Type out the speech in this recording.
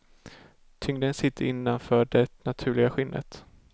Tyngden sitter innanför det naturliga skinnet.